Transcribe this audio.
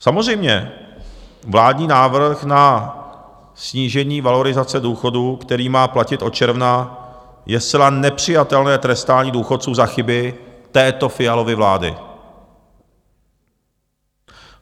Samozřejmě vládní návrh na snížení valorizace důchodů, který má platit od června, je zcela nepřijatelné trestání důchodců za chyby této Fialovy vlády.